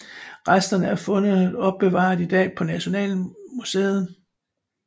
Resterne af fundet opbevares i dag på Nationalmuseet